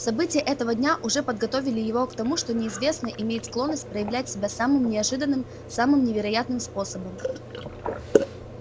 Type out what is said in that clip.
события этого дня уже подготовили его к тому что неизвестное имеет склонность проявлять себя самым неожиданным самым невероятным образом